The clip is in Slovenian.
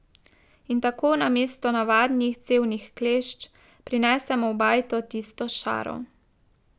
In tako namesto navadnih cevnih klešč prinesemo v bajto tisto šaro.